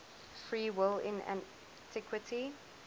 free will in antiquity